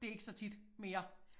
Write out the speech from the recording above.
Det ikke så tit mere